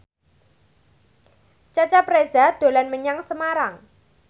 Cecep Reza dolan menyang Semarang